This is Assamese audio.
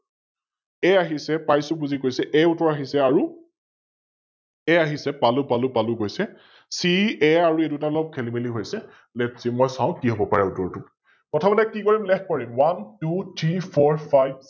A আহিছে, পাইছো বুজি কৈছে A উত্তৰ আহিছে আৰু A আহিছে, পালো পালো কৈছে । CA আৰু এই দুটা অলপ খেলি মেলি হৈছে । LetSee মই চাও কি হব পাৰে উত্তৰটো? প্ৰথমতে কি কৰিম Leg কৰিম OneTwoThreeFourFive